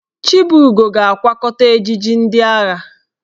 Chibugo ga-akwakọta ejiji ndị agha ya.